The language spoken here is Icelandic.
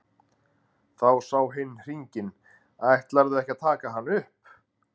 Þá sá hin hringinn:-Ætlarðu ekki að taka hann upp?